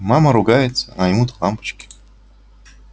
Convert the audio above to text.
мама ругается а ему до лампочки